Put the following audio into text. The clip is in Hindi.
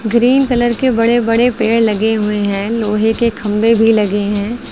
ग्रीन कलर के बड़े बड़े पेड़ लगे हुए हैं लोहे के खंभे भी लगे हैं।